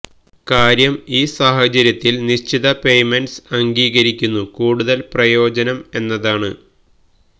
കാര്യം ഈ സാഹചര്യത്തിൽ നിശ്ചിത പേയ്മെന്റ്സ് അംഗീകരിക്കുന്നു കൂടുതൽ പ്രയോജനം എന്നതാണ്